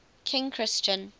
king christian